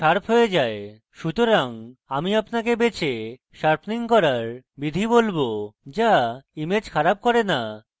সুতরাং আমি আপনাকে বেছে sharpening করার বিধি বলবো so image খারাপ করে so